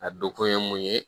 A donkun ye mun ye